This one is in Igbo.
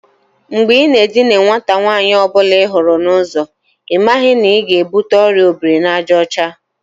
Mgbe i na edina nwata nwaanyi ọ bụla ihuru n'uzo, ị maghị na ị ga-ebute Ọrịa obiri-na-aja ocha?